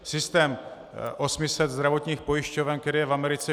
Systém 800 zdravotních pojišťoven, který je v Americe.